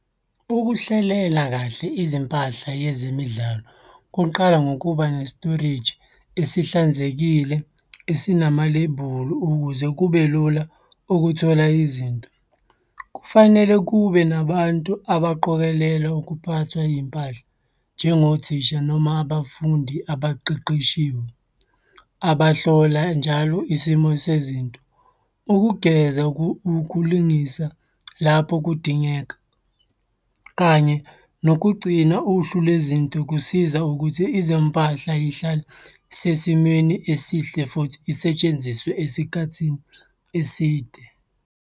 Ukuhlelela kahle izimpahla yezemidlalo kuqala ngokuba ne-storage esihlanzekile esinamalebhuli ukuze kube lula ukuthola izinto. Kufanele kube nabantu abaqokelela ukuphathwa iy'mpahla njengothisha noma abafundi abaqeqeshiwe abahlola njalo isimo sezinto. Ukugeza ukulungisa lapho kudingeka, kanye nokugcina uhlu lwezinto kusiza ukuthi izimpahla y'hlale sesimeni esihle futhi isetshenziswe esikhathini eside.